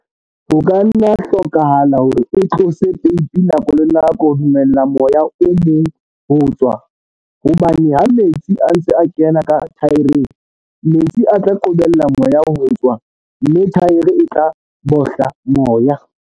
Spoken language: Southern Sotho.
Ho ka nna ha hlokahala hore o tlose peipi nako le nako ho dumella moya o mong ho tswa hobane ha metsi a ntse a kena ka thaereng, metsi a tla qobella moya ho tswa, mme thaere e tla "bohla" moya.